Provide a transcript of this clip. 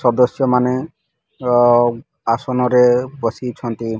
ସଦସ୍ୟ ମାନେ ର ଆସନ ରେ ବସିଛନ୍ତି।